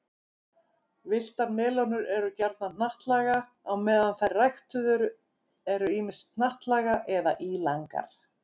Villtar melónur eru gjarnan hnattlaga á meðan þær ræktuðu eru ýmist hnattlaga eða ílangar.